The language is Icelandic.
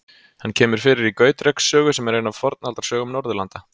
Hann kemur fyrir í Gautreks sögu, sem er ein af Fornaldarsögum Norðurlanda.